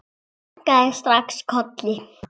Ég kinkaði strax kolli.